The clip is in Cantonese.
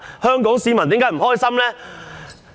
香港市民為何不開心呢？